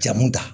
Jamu ta